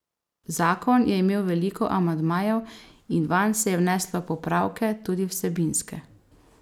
Zakon je imel veliko amandmajev in vanj se je vneslo popravke, tudi vsebinske.